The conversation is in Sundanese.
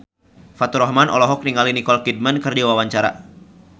Faturrahman olohok ningali Nicole Kidman keur diwawancara